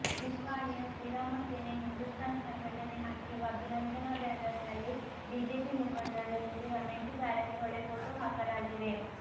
ನಿಪ್ಪಾಣಿಯ ಶ್ರೀರಾಮ ಸೇನೆ ಹಿಂದುಸ್ತಾನ್ ಸಂಘಟನೆ ಹಾಕಿರುವ ಅಭಿನಂದನಾ ಬ್ಯಾನರ್ನಲ್ಲಿ ಬಿಜೆಪಿ ಮುಖಂಡರ ಜತೆ ರಮೇಶ ಜಾರಕಿಹೊಳಿ ಫೋಟೋ ಹಾಕಲಾಗಿದೆ